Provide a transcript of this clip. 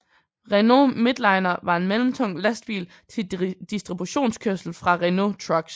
Renault Midliner var en mellemtung lastbil til distributionskørsel fra Renault Trucks